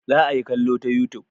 Za a yi kallo ta youtube.